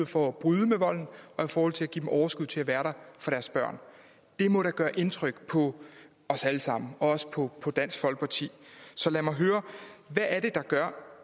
for at bryde med volden og i forhold til at give dem overskud til at være der for deres børn det må da gøre indtryk på os alle sammen og også på dansk folkeparti så lad mig høre hvad er det der gør